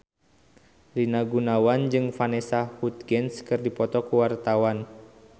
Rina Gunawan jeung Vanessa Hudgens keur dipoto ku wartawan